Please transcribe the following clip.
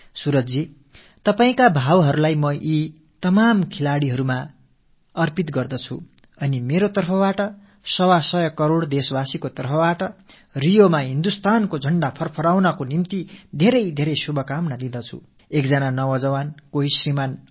சூரஜ் அவர்களே உங்கள் உணர்வுகளை நான் இந்த அனைத்து விளையாட்டு வீரர்களுக்கும் அர்ப்பணம் செய்கிறேன் மேலும் நான் என் தரப்பிலிருந்தும் 125 கோடி நாட்டுமக்கள் தரப்பிலிருந்தும் ரியோவில் நமது கொடி பெருமிதத்தோடு பறக்க உங்களுக்கு ஏராளமான நல்வாழ்த்துக்களைத் தெரிவித்துக் கொள்கிறேன்